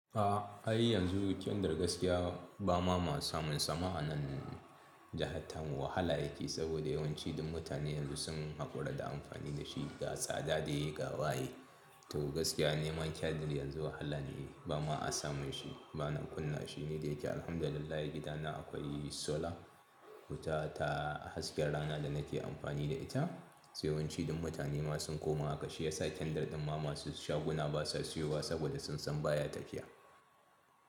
A har yanzu kyandar gaskiya ba ma masu samun sama anan jahan tamu wahala yake, saboda yawanci duk mutanen yanzu sun haƙura da amfani da shi, ga tsada ne ga waye. To gaskiya neman kyandar yanzu wahala ne ba ma a samun shi ba nan kunna shi ne da yake alhamdulillah gidana akwai solar wuta ta hasken rana da nake amfani da ita. Sai yawanci dum mutane ma sun koma haka shiyasa kyandar din ma masu shaguna basa siyowa saboda sun san baya tafiya.